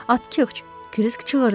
Atxıç, Kirisk çığırdı.